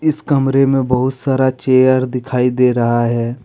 ईश कमरे में बहुत सारा चेयर दिखाई दे रहा है।